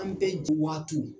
An bɛɛ jen wagatiw.